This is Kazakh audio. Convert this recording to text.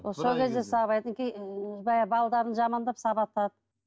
сол кезде сабайды балаларын жамандап сабап алады